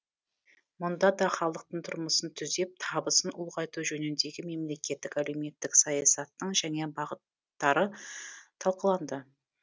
мұнда да халықтың тұрмысын түзеп табысын ұлғайту жөніндегі мемлекеттік әлеуметтік саясаттың жаңа бағыттары талқыланды